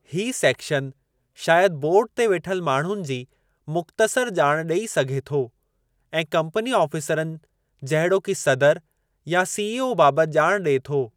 हीउ सेक्शन शायदि बोर्डु ते वेठल माण्हुनि जी मुख़्तसर ॼाण ॾेई सघे थो ऐं कम्पनी ऑफ़ीसरनि जहिड़ोकि सदर या सीईओ बाबति ॼाण ॾिए थो।